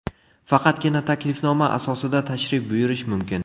Faqatgina taklifnoma asosida tashrif buyurish mumkin.